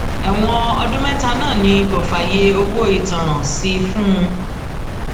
ẹwọn ọdún mẹta náà ni kò fààyè owó ìtanràn sí fún un